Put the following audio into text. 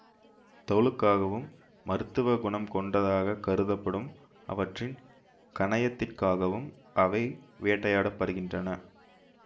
தோலுக்காகவும் மருத்துவ குணம் கொண்டதாக கருதப்படும் அவற்றின் கணையத்திற்காகவும் அவை வேட்டையாட படுகின்றன